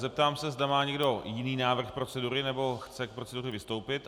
Zeptám se, zda má někdo jiný návrh procedury nebo chce k proceduře vystoupit.